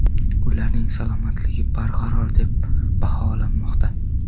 Ularning salomatligi barqaror deb baholanmoqda.